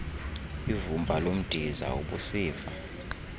ivumba lomdiza ubusiva